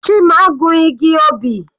Chima gun igi obì.